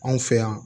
Anw fɛ yan